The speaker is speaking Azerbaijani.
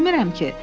Bilmirəm ki.